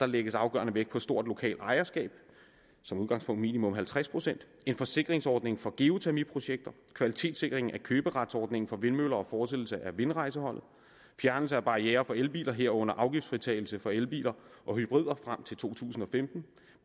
lægges afgørende vægt på stort lokalt ejerskab som udgangspunkt min halvtreds procent en forsikringsordning for geotermiprojekter kvalitetssikring af køberetsordningen for vindmøller og fortsættelse af vindrejseholdet fjernelse af barrierer for elbiler herunder afgiftsfritagelse for elbiler og hybrider frem til to tusind og femten